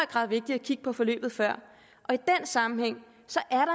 grad vigtigt at kigge på forløbet før og sammenhæng